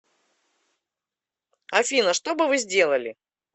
афина что бы вы сделали